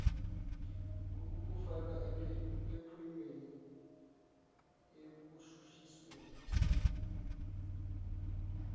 ukukufaka ophenyweni ekushushisweni